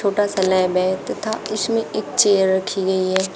छोटा सा लैब है तथा उसमें एक चेयर रखी गई है।